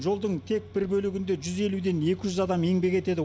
жолдың тек бір бөлігінде жүз елуден екі жүз адам еңбек етеді